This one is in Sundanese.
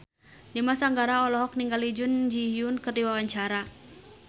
Dimas Anggara olohok ningali Jun Ji Hyun keur diwawancara